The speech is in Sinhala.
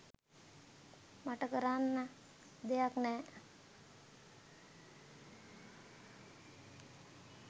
මට කරන්න දෙයක් නෑ..